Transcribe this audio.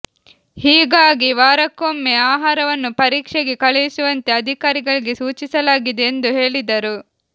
ಹೀಗಾಗಿ ವಾರಕ್ಕೊಮ್ಮೆ ಆಹಾರವನ್ನು ಪರೀಕ್ಷೆಗೆ ಕಳುಹಿಸುವಂತೆ ಅಧಿಕಾರಿಗಳಿಗೆ ಸೂಚಿಸಲಾಗಿದೆ ಎಂದು ಹೇಳಿದರು